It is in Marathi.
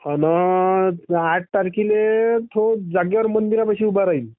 आना आठ तारखेला तो जागेवर मंदिरापाशी उभा राहील.